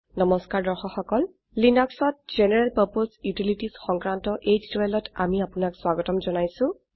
নমস্কাৰ লিনাক্সত general purpose utilities সংক্ৰান্ত এই টিউটোৰীয়েলটিত আমি আপোনাক স্বাগত জনাইছো